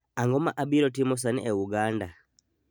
ang'o ma abiro timo sani e uganda